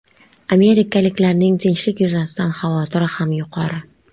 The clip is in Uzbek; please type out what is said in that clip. Amerikaliklarning tinchlik yuzasidan xavotiri ham yuqori.